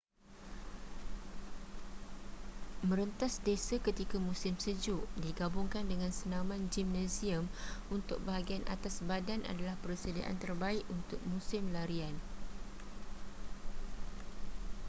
merentas desa ketika musim sejuk digabungkan dengan senaman gimnasium untuk bahagian atas badan adalah persediaan terbaik untuk musim larian